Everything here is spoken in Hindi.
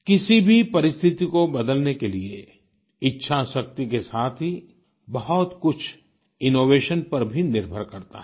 किसी भी परिस्थिति को बदलने के लिए इच्छाशक्ति के साथ ही बहुत कुछ इनोवेशन पर भी निर्भर करता है